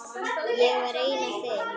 Ég var einn af þeim.